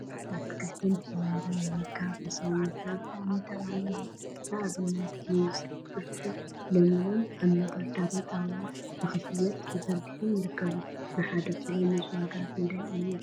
አትክልቲን ፍራፍረን አትክልቲን ፍራፍረን ምምጋብ ንሰውነትና ብጣዕሚ ጠቃሚ እዩ፡፡ ንአብነት ሙዝ፣ ብርጭቅ፣ ሎሚንን ቃጫን አብ መንደርደሪ ጣውላ ንክሽየጡ ተዘርጊሖም ይርከቡ፡፡ ንሓደ ኪሎ ሙዝ ዋጋ ክንደይ እዩ